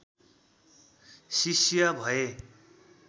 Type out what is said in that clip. शिष्य भए